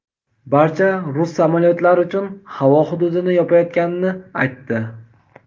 barcha rus samolyotlari uchun havo hududini yopayotganini aytdi.